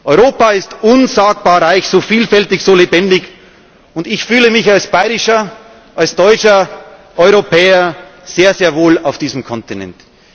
Europa ist unsagbar reich, so vielfältig, so lebendig. Ich fühle mich als bayerischer, als deutscher Europäer sehr wohl auf diesem Kontinent.